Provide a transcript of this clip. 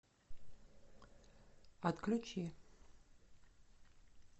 отключи